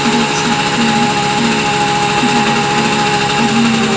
देख सकते है जहां पे हरमुनिया --